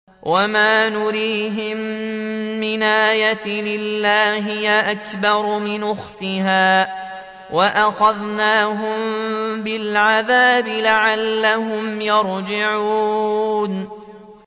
وَمَا نُرِيهِم مِّنْ آيَةٍ إِلَّا هِيَ أَكْبَرُ مِنْ أُخْتِهَا ۖ وَأَخَذْنَاهُم بِالْعَذَابِ لَعَلَّهُمْ يَرْجِعُونَ